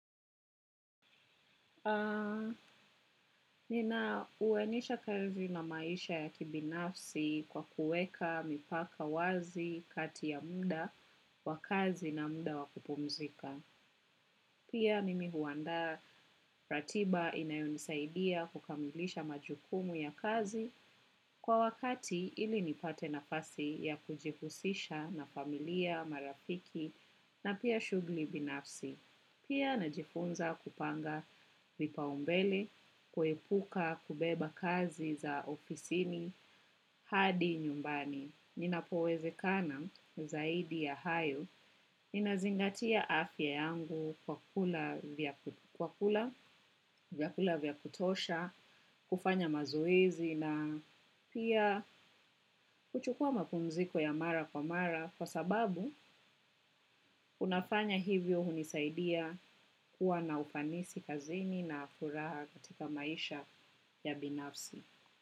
Aaaa, nina unganisha kazi na maisha ya kibinafsi kwa kuweka mipaka wazi kati ya muda wa kazi na muda wa kupumzika. Pia mimi huandaa ratiba inayonisaidia kukamilisha majukumu ya kazi kwa wakati ili nipate nafasi ya kujihusisha na familia, marafiki na pia shugli binafsi. Pia najifunza kupanga vipaumbele, kuepuka, kubeba kazi za ofisini hadi nyumbani. Ninapowezekana zaidi ya hayo, ninazingatia afya yangu kwa kula vyakula vya kutosha, kufanya mazoezi na pia kuchukua mapumziko ya mara kwa mara. Kwa sababu, unafanya hivyo hunisaidia kuwa na ufanisi kazini na furaha katika maisha ya binafsi.